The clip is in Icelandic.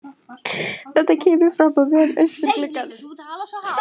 Þetta kemur fram á vef Austurgluggans